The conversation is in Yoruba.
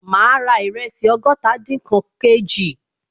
Ma ra ìrẹsì ọgọ́tadinkan kg